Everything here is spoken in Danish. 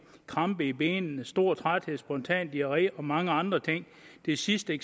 krampe i benene stor træthed spontan diarré og mange andre ting det sidste